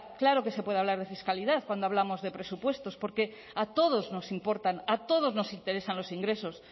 claro que se puede hablar de fiscalidad cuando hablamos de presupuestos porque a todos nos importan a todos nos interesan los ingresos